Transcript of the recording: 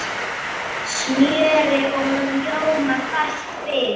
Smjöri og rjóma bætt við.